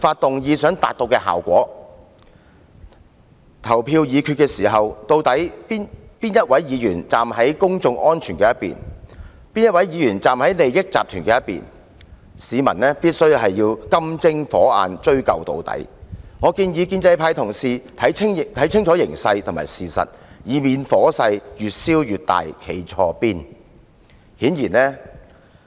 就議案進行表決時，究竟哪位議員站在公眾安全一方，哪位議員站在利益集團一方，市民必須"金睛火眼"追究到底，我建議建制派同事看清形勢和事實，以免火勢越燒越大，令他們"站錯邊"。